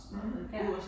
Mh ja